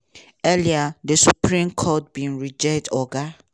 earlier di supreme court bin reject oga